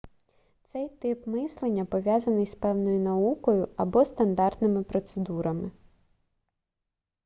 цей тип мислення пов'язаний з певною наукою або стандартними процедурами